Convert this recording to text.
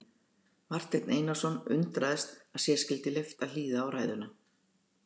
Marteinn Einarsson undraðist að sér skyldi leyft að hlýða á ræðuna.